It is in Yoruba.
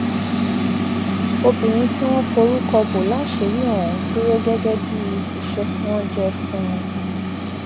obìnrin tí wọn forúkọ bọ láṣìírí ọhún dúró gẹgẹ bíi iṣẹ tí wọn jẹ fún un